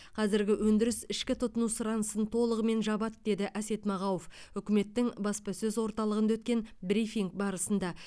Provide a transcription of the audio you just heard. қазіргі өндіріс ішкі тұтыну сұранысын толығымен жабады деді әсет мағауов үкіметтің баспасөз орталығында өткен брифинг барысында